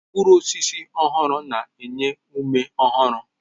Mkpụrụ osisi ọhụrụ na-enye ume ọhụrụ